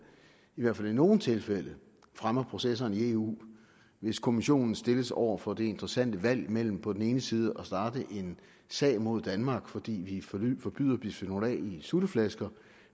i hvert fald i nogle tilfælde fremmer processerne i eu hvis kommissionen stilles over for det interessante valg mellem på den ene side at starte en sag mod danmark fordi vi forbyder bisfenol a i sutteflasker